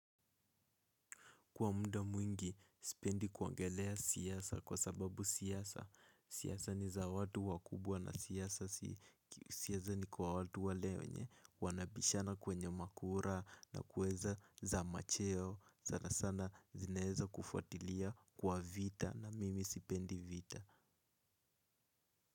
Kwa muda mwingi, sipendi kuongelea siasa kwa sababu siasa, siasa ni za watu wakubwa na siasa ni kwa watu wale wenye, wanabishana kwenye makura na kweza za macheo, sana sana zinaezakufuatilia kwa vita na mimi sipendi vita.